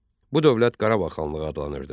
Bu dövlət Qarabağ xanlığı adlanırdı.